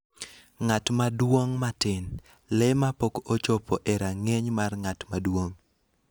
ng'at maduong' matin (le ma pok ochopo e rang'iny mar ng'at maduong')